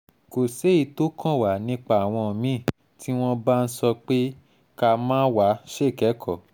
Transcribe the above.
kò séyìí tó kàn wá nípa àwọn mí-ín tí wọ́n bá ń sọ pé ká má wá ṣèkẹ́kọ̀ọ́